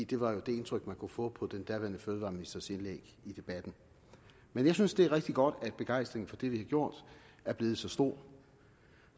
det var jo det indtryk man kunne få på den daværende fødevareministers indlæg i debatten men jeg synes det er rigtig godt at begejstringen for det vi har gjort er blevet så stor